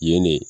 Yen ne